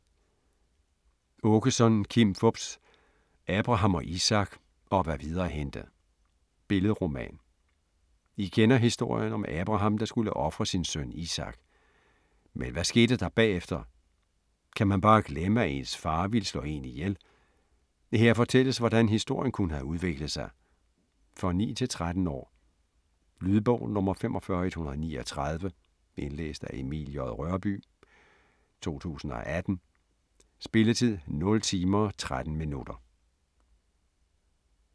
Aakeson, Kim Fupz: Abraham og Isak - og hvad videre hændte Billedroman. I kender historien om Abraham, der skulle ofre sin søn Isak. Men hvad skete der bagefter? Kan man bare glemme, at ens far ville slå en ihjel? Her fortælles, hvordan historien kunne have udviklet sig. For 9-13 år. Lydbog 45139 Indlæst af Emil J. Rørbye, 2018. Spilletid: 0 timer, 13 minutter.